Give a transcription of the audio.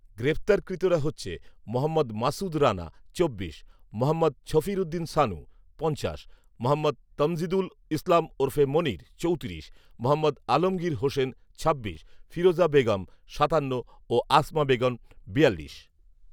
গ্রেফতারকৃতরা হচ্ছে, মহম্মদ মাসুদ রানা চব্বিশ, মহম্মদ ছফির উদ্দিন শানু পঞ্চাশ, মহম্মদ তমজিদুল ইসলাম ওরফে মনির চৌত্রিশ, মহম্মদ আলমগীর হোসেন ছাব্বিশ, ফিরোজা বেগম সাতান্ন ও আসমা বেগম বিয়াল্লিশ